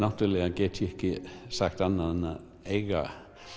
get ég ekki sagt annað en að eiga